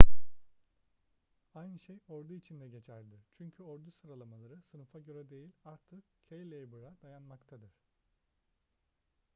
aynı şey ordu için de geçerlidir çünkü ordu sıralamaları sınıfa göre değil artık cailaber'e dayannmaktadır